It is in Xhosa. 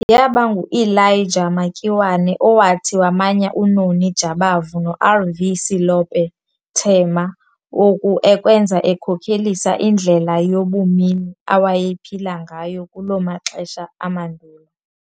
Yaba nguElijah Makiwane owathi wamanya uNoni Jabavu noR.V. Selope Thema oku ekwenza ekhokelisa indlela yabumini awayephila ngayo kulo maxesha amandulo.